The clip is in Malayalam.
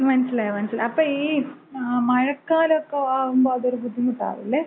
മനസിലായി മനസിലായി. അപ്പൊ ഈ മഴക്കാലലൊക്ക ആവുമ്പോ അതൊരു ബുദ്ധിമുട്ടാവില്ലേ?